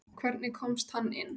Hvernig komst hann inn?